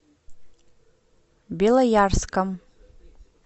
белоярском